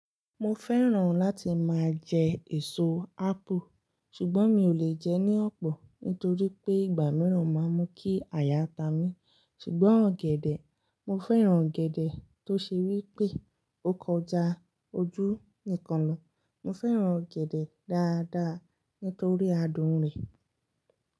Mo fẹ́ràn láti máa jẹ èso ápù. Ṣùgbọ́n mi ò lè jẹ ní ọ̀pọ̀ nítorí pé ìgbà mìíràn máa ń mú kí àyà ta mi. Ṣùgbọ́n ọ̀gẹ̀dẹ̀, mo fẹ́ràn ọ̀gẹ̀dẹ̀ tó ṣe wí pé ó kọjá ojú ìkanlọ. Mo fẹ́ràn ọ̀gẹ̀dẹ̀ dáadáa nítorí adùn rẹ̀.